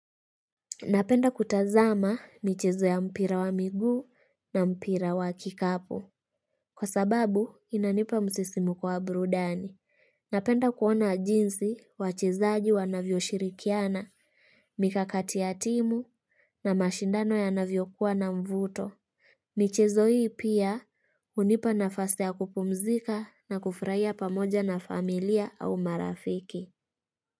Napenda kutazama michezo ya mpira wa migu na mpira wa kikapu Kwa sababu inanipa msisimo kwa burudani. Napenda kuona jinsi wachezaji wanavyo shirikiana, mikakati ya timu na mashindano ya navyo kuwa na mvuto. Michezo hii pia unipa nafasi ya kupumzika na kufraia pamoja na familia au marafiki.